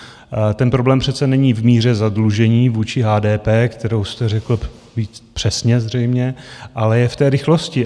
Ten problém přece není v míře zadlužení vůči HDP, kterou jste řekl přesně zřejmě, ale je v té rychlosti.